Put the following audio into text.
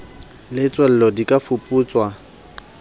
le tswello di ka fuputswa